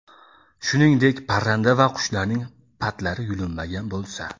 shuningdek parranda va qushlarning patlari yulinmagan bo‘lsa;.